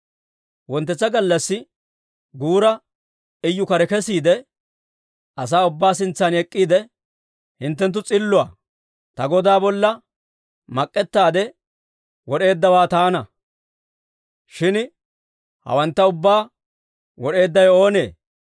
Wonttetsa gallassi guura Iyu kare kesiide, asaa ubbaa sintsan ek'k'iide, «Hinttenttu s'illa. Ta godaa bolla mak'ettaade wod'eeddawe taana. Shin hawantta ubbaa wod'eeddawe oonee?